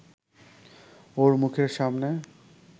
ওর মুখের সামনে